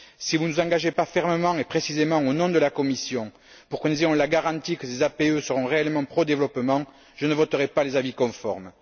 Si vous ne vous engagez pas fermement et précisément au nom de la Commission pour que nous ayons la garantie que ces APE seront réellement pro développement, je ne voterai pas les avis conformes.